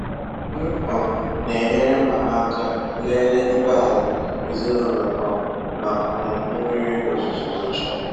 M um na-enyere mama aka lele ibé-ala ezinụlọ um ma um mmiri ozuzo zochaa.